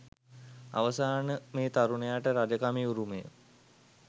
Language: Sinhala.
අවසන මේ තරුණයාට රජ කමේ උරුමය